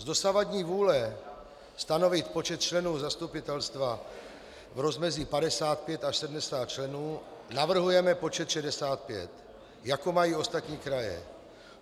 Z dosavadní vůle stanovit počet členů zastupitelstva v rozmezí 55 až 70 členů navrhujeme počet 65, jako mají ostatní kraje.